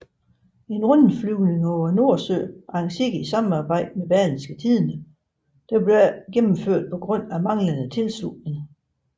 En rundflyvning over Nordsøen arrangeret i samarbejde med Berlingske Tidende blev ikke gennemført på grund af manglede tilslutning